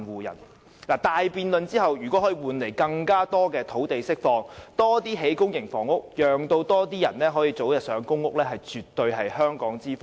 如果大辯論後可以換來政府釋放更多土地，興建更多公營房屋，讓更多人可以早日入住公屋，絕對是香港之福。